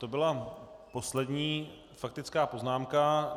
To byla poslední faktická poznámka.